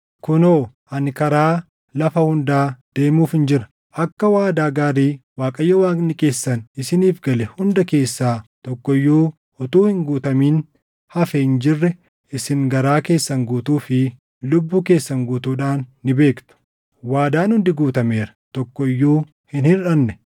“Kunoo ani karaa lafa hundaa deemuufin jira. Akka waadaa gaarii Waaqayyo Waaqni keessan isiniif gale hunda keessaa tokko iyyuu utuu hin guutamin hafee hin jirre isin garaa keessan guutuu fi lubbuu keessan guutuudhaan ni beektu. Waadaan hundi guutameera; tokko iyyuu hin hirʼanne.